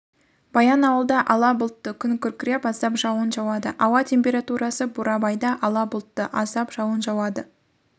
баянауылда ала бұлтты күн күркіреп аздап жауын жауады ауа температурасы бурабайда ала бұлтты аздап жауын жауады